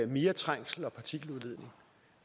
mere trængsel og partikeludledning